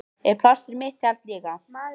Er pláss fyrir mitt tjald líka?